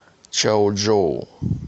чаочжоу